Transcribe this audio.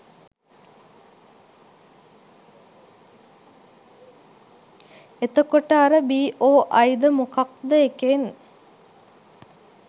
එතකොට අර බි.ඔ.අයි ද මොකක්ද එකෙන්